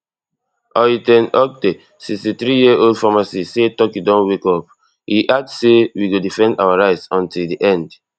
ay ten oktay sixty-threeyearold pharmacist say turkey don wake up e add say we go defend our rights until di end